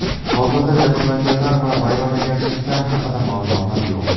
Hozirda jabrlanganlar va vayronagarchiliklar haqida ma’lumotlar yo‘q.